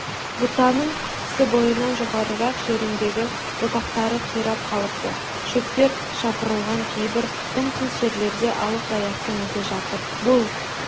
бұтаның кісі бойынан жоғарырақ жеріндегі бұтақтары қирап қалыпты шөптер жапырылған кейбір дымқыл жерлерде алып аяқтың ізі жатыр бұл